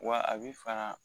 Wa a bɛ fara